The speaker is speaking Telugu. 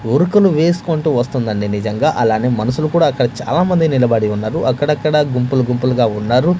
ఉరుకులు వేసుకుంటూ వస్తుందండి నిజంగా అలానే మనుషులు కూడా అక్కడ చాలా మంది నిలబడి ఉన్నారు అక్కడక్కడ గుంపులు గుంపులుగా ఉన్నారు.